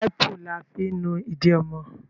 Wàipu la fi ń nu ídì ọmọ